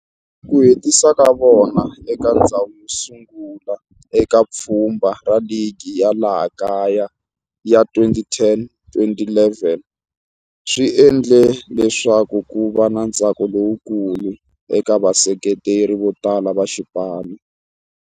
Ku hetisa ka vona eka ndzhawu yo sungula eka pfhumba ra ligi ya laha kaya ya 2010-11 swi endle leswaku kuva na ntsako lowukulu eka vaseketeri votala va xipano.